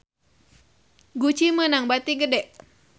Gucci meunang bati gede